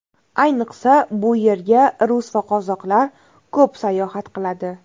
Ayniqsa, bu yerga rus va qozoqlar ko‘p sayohat qiladi.